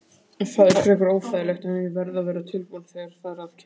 Það er frekar óþægilegt en ég verð að vera tilbúinn þegar þar að kemur.